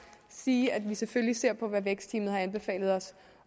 sige at vi selvfølgelig ser på hvad vækstteamet har anbefalet os